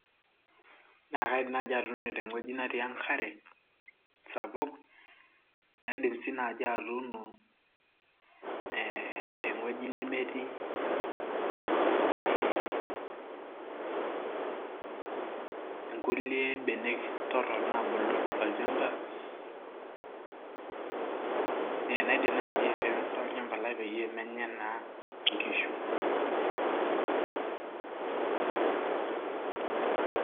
naa kaidim naaji atuuno tewueji natii enkare. sapuk. naidim sii naaji atuno, te wueji nemetii, ee nkulie benek torok, naabulu tolchampa, naidim naaji aifensa olchampa lai pee menya naa inkishu.